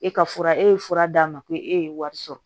E ka fura e ye fura d'a ma ko e ye wari sɔrɔ